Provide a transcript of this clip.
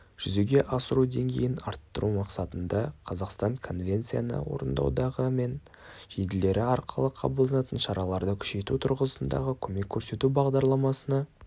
жүзеге асыру деңгейін арттыру мақсатында қазақстан конвенцияны орындаудағы мен елдері арқылы қабылданатын шараларды күшейту тұрғысындағы көмек көрсету бағдарламасына